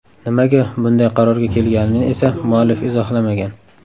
Nimaga bunday qarorga kelganini esa muallif izohlamagan.